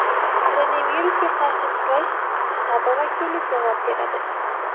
Koronavirusga qarshi kurash shtabi vakili javob beradi.